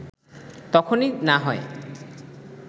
তখনই না হয়